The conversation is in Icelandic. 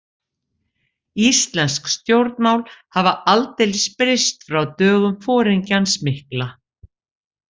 Íslensk stjórnmál hafa aldeilis breyst frá dögum foringjans mikla.